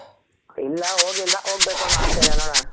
ಇಲ್ಲ ಹೋಗಿಲ್ಲ ಹೋಗಬೇಕು ಅನ್ನೋ ಆಸೆ ಇದೆ ನೋಡನ.